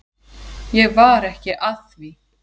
Ég var ekki að því.